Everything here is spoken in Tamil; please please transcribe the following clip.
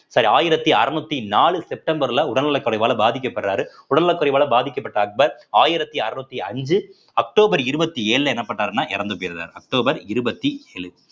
sorry ஆயிரத்தி அறநூத்தி நாலு செப்டம்பர்ல உடல் நலக்குறைவால பாதிக்கப்படுறாரு உடல் நலக்குறைவால பாதிக்கப்பட்ட அக்பர் ஆயிரத்தி அறநூத்தி அஞ்சு அக்டோபர் இருவத்தி ஏழுல என்ன பண்றாருன்னா இறந்து போயிராரு அக்டோபர் இருபத்தி ஏழு